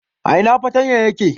A ina fartanyan yake?